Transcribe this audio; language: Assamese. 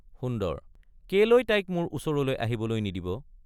সুন্দৰ—কেলৈ তাইক মোৰ ওচৰলৈ আহিবলৈ নিদিব?